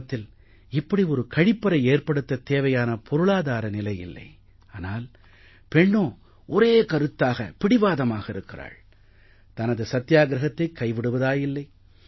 குடும்பத்தில் இப்படி ஒரு கழிப்பறை ஏற்படுத்தத் தேவையான பொருளாதார நிலை இல்லை ஆனால் பெண்ணோ ஒரே கருத்தாக பிடிவாதமாக இருக்கிறாள் தனது சத்தியாகிரஹத்தை கைவிடுவதாயில்லை